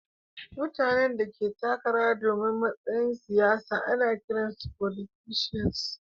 Mutane da ke takara domin matsayin siyasa ana kiran su"Folitisans."